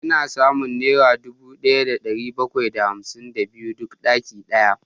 Ina samun naira dubu daya da dari bakwai da hamsin da biyar duk dakika daya